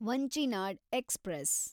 Vanchinad express